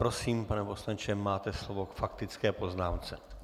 Prosím, pane poslanče, máte slovo k faktické poznámce.